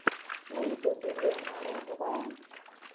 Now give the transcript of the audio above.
на ютьюбе лена роговая